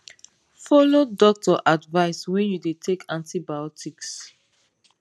follow doctor advice when you dey take antibiotics